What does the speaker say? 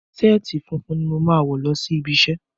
Ṣáàtì funfun ni mo máa wọ̀ lọ sí ibi iṣẹ́.